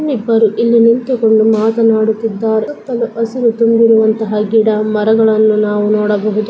ಇನ್ನಿಬರು ಇಲ್ಲಿ ನಿಂತುಕೊಂಡು ಮಾತನಾಡುತ್ತಿದ್ದಾರೆ ಸುತ್ತಲು ಹಸಿರು ತುಂಬಿರುವಂತಹ ಗಿಡ ಮರಗಳನ್ನು ನಾವು ನೋಡಬಹುದು.